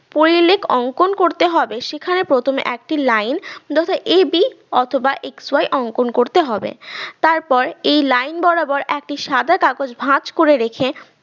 পরিলেখ অংকন করতে হবে সেখানে প্রথমে একটি line যথা ab অথবা xy অংকন করতে হবে তারপর এই line বরাবর একটি সাদা কাগজ ভাজ করে রেখে